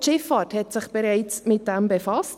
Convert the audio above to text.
Auch die Schifffahrt hat sich bereits damit befasst;